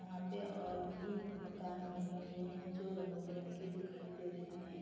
यहाँ पे और भी मकान बने हुए हैं जो रंग-बिरंगे दिखाई दे रहे हैं।